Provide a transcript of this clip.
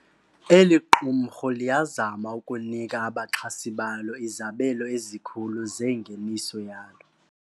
Eli qumrhu liyazama ukunika abaxhasi balo izabelo ezikhulu zengeniso yalo.